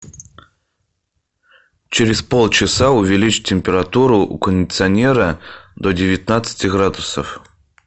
через полчаса увеличь температуру у кондиционера до девятнадцати градусов